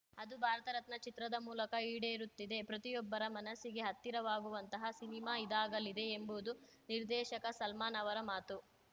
ಅದು ಭಾರತರತ್ನ ಚಿತ್ರದ ಮೂಲಕ ಈಡೇರುತ್ತಿದೆ ಪ್ರತಿಯೊಬ್ಬರ ಮನಸ್ಸಿಗೆ ಹತ್ತಿರವಾಗುವಂತಹ ಸಿನಿಮಾ ಇದಾಗಲಿದೆ ಎಂಬುವುದು ನಿರ್ದೇಶಕ ಸಲ್ಮಾನ್‌ ಅವರ ಮಾತು